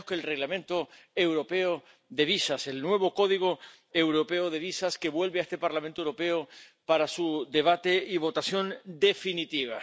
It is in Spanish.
nada menos que en el Reglamento europeo de visados, el nuevo Código europeo de visados, que vuelve a este Parlamento Europeo para su debate y votación definitiva.